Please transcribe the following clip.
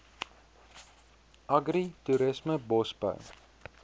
agri toerisme bosbou